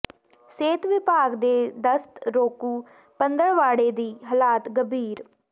ਸਿਹਤ ਵਿਭਾਗ ਦੇ ਦਸਤ ਰੋਕੂ ਪੰਦਰਵਾੜੇ ਦੀ ਹਾਲਤ ਗੰਭੀਰ